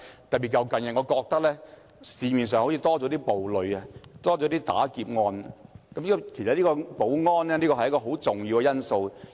特別是近日發生了較多暴戾事件和劫案，保安是一個很重要的因素。